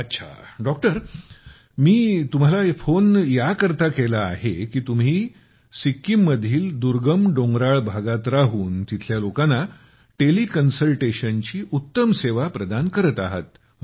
अच्छा मी तुम्हाला फोन याकरिता केला आहे की तुम्ही सिक्कीम मधील दुर्गम डोंगराळ भागात राहून तिथल्या लोकांना टेली कन्सल्टेशनची उत्तम सेवा प्रदान करत आहात